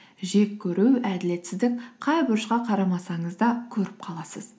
жек көру әділетсіздік қай бұрышқа қарамасаңыз да көріп қаласыз